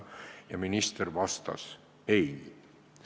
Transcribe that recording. Küsimusele minister vastas: "Ei.